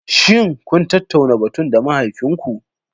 Shin kun tattauna batun da mahaifinku?